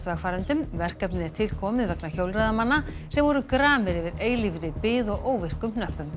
vegfarendum verkefnið er til komið vegna hjólreiðamanna sem voru gramir yfir eilífri bið og óvirkum hnöppum